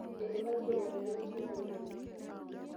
eidipaki aipotokiki olchif pee irorie